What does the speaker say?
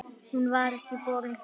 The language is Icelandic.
Hún var ekki borin fram.